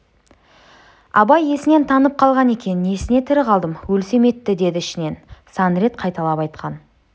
абай есінен танып қалған екен несіне тірі қалдым өлсем етті деді ішінен сан рет қайталап айтқан